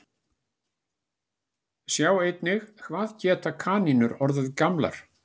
Sjá einnig Hvað geta kanínur orðið gamlar?